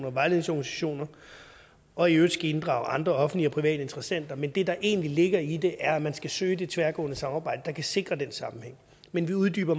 og vejledningsorganisationer og i øvrigt inddrage andre offentlige og private interessenter men det der egentlig ligger i det er at man skal søge det tværgående samarbejde der kan sikre den sammenhæng men vi uddyber